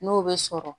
N'o bɛ sɔrɔ